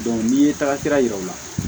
n'i ye taga sira yira u la